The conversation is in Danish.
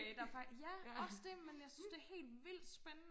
ja også det men jeg synes det er helt vildt spændende